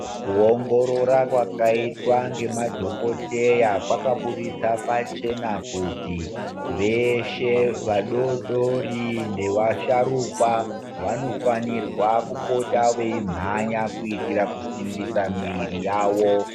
Kuongorora kwakaitwa ngemadhokoteya kwakaburitsa pachena kuti veshe vadodori nevasharukwa vanofanirwa kupota veimhanya kuitira kusimbisa mwiri yavo.